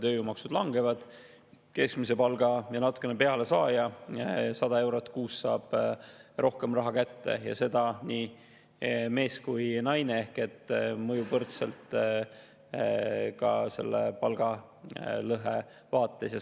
Tööjõumaksud langevad, keskmise palga ja natukene peale saaja saab 100 eurot kuus rohkem raha kätte ja seda nii mees kui ka naine ehk see mõjub palgalõhe vaates võrdselt.